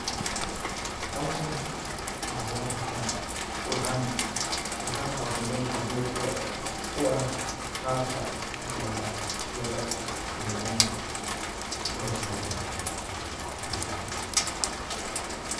Hawshan waxaa loo qabta waxaana qabta nin qibrad u eh qabka dalaga loo gooyo ama loo soo guro.